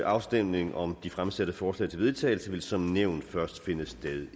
afstemning om de fremsatte forslag til vedtagelse vil som nævnt først finde sted